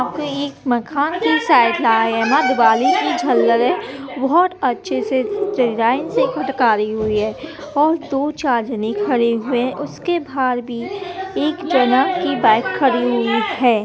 यहां पे एक मकान की साइड दिवाली की झल लगे हैं बहुत ही अच्छे से डिजाइन से हुई हैं और दो-चार जने खड़े हुए हैं उसके बाहर भी एक जना की बाइक खड़ी हुई है।